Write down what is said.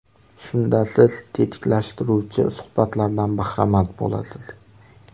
Shunda siz tetiklashtiruvchi suhbatlardan bahramand bo‘lasiz.